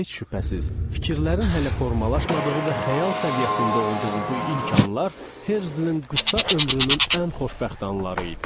Heç şübhəsiz, fikirlərin hələ formalaşmadığı və xəyal səviyyəsində olduğu bu ilk anlar Herzlin qısa ömrünün ən xoşbəxt anları idi.